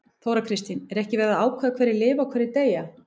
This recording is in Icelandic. Þóra Kristín: Er ekki verið að ákveða hverjir lifa og hverjir deyja?